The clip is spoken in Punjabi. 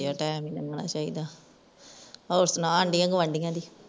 ਟਾਈਮ ਹੀ ਲਗਣਾ ਚਾਹੀਦਾ ਹੋਰ ਸੁਣਾ ਆਂਢੀਆਂ-ਗੁਆਂਢੀਆਂ ਦੀ